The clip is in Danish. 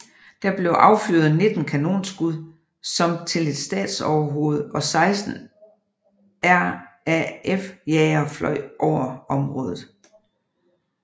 Der blev affyret 19 kanonskud som til et statsoverhoved og 16 RAF jagere fløj over området